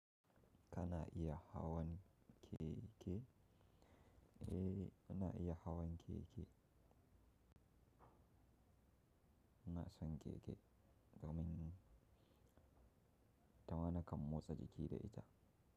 Ka na iya hawan keke? Eh, na iya hawan keke. Na san keke domin tana kan motsa jiki da ita.